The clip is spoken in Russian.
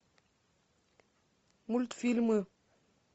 мультфильмы